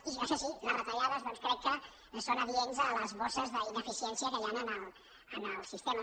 i això sí les retallades crec que són adients a les bosses d’inefi·ciència que hi han en el sistema